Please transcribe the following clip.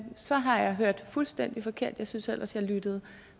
så har jeg hørt fuldstændig forkert jeg synes ellers jeg lyttede